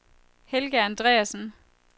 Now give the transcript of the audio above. Helga Andreasen